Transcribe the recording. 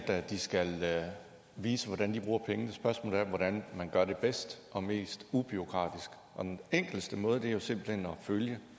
at de skal vise hvordan de bruger pengene spørgsmålet er hvordan man gør det bedst og mest ubureaukratisk den enkleste måde er jo simpelt hen at følge